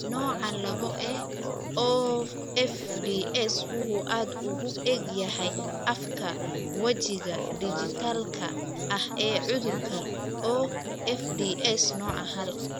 Nooca laabo ee OFDS wuxuu aad ugu eg yahay afka wajiga dhijitaalka ah ee cudurka (OFDS) nooca haal.